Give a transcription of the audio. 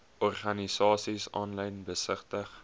organisasies aanlyn besigtig